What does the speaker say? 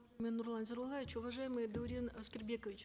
нурлан зайроллаевич уважаемый даурен аскербекович